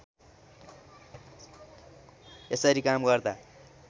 यसरी काम गर्दा